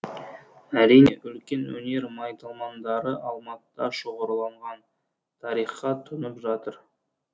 әрине үлкен өнер майталмандары алматыда шоғырланған тарихқа тұнып жатыр